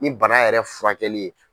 Ni bana yɛrɛ furakɛli ye.